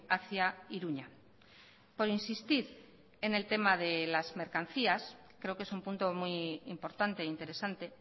hacia iruña por insistir en el tema de las mercancías creo que es un punto muy importante e interesante